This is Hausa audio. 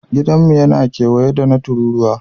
Gidanmu yana kewaye da gida na tururuwa